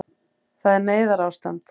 Það er neyðarástand